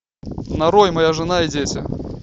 нарой моя жена и дети